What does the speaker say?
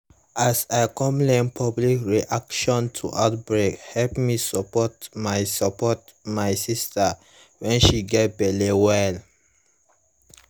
as i come learn public reaction to outbreake help me support my support my sister when she gets belle well